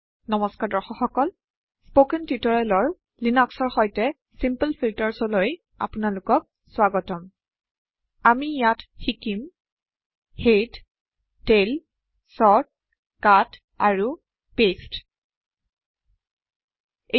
নমস্কাৰ দৰ্শক সকল স্পকেন টিউটোৰিয়েলৰ লিনক্সৰ সৈতে চিমপল ফিলটাৰ্চলৈ আপোনালোকৰলৈ স্ৱাগতম আমি ইয়াত শিকিম হেড টেইল চৰ্ট কাট আৰু পাঁচতে